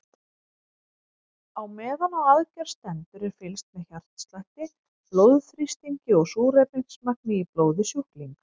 Á meðan á aðgerð stendur er fylgst með hjartslætti, blóðþrýstingi og súrefnismagni í blóði sjúklings.